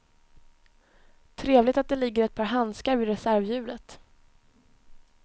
Trevligt att det ligger ett par handskar vid reservhjulet.